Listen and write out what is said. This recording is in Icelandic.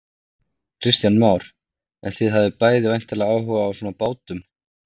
Kristján Már: En þið hafið bæði væntanlega áhuga á svona bátum?